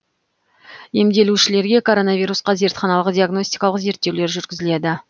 емделушілерге коронавирусқа зертханалық диагностикалық зерттеулер жүргізіледі